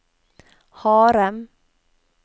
harde